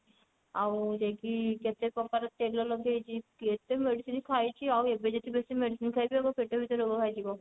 ଆଉ ଯାଇକି କେତେ ପ୍ରକାର ତେଲ ଲଗେଇଛି କେତେ medicine ଖାଇଛି ଆଉ ଏବେ ଯଦି ବେଶି medicine ଖାଇବି ଏବେ ପେଟ ଭିତରେ ରୋଗ ବାହାରିଯିବ